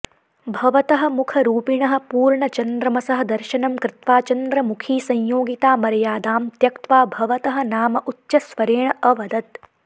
भवतः मुखरूपिणः पूर्णचन्द्रमसः दर्शनं कृत्वा चन्द्रमुखी संयोगिता मर्यादां त्यक्त्वा भवतः नाम उच्चस्वरेण अवदत्